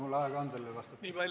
Kui palju aega mul on sellele vastata?